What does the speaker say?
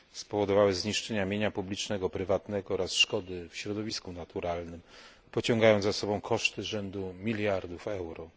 Spowodowały one zniszczenia mienia publicznego, prywatnego oraz szkody w środowisku naturalnym, pociągając za sobą koszty rzędu miliardów euro.